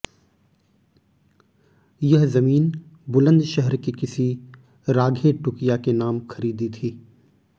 यह जमीन बुलंदशहर के किसी राघे टुकिया के नाम खरीदी थी